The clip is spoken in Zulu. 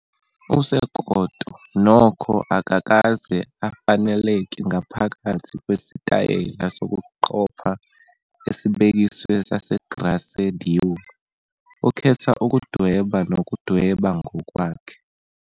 USekoto, nokho, akakaze afaneleke ngaphakathi kwesitayela sokuqopha esibekiwe saseGrace Dieu, ukhetha ukudweba nokudweba ngokwakhe.